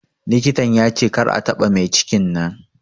Likitan ya ce kar a taɓa maicikin nan